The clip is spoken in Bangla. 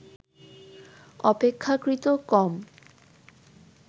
অপেক্ষাকৃত কম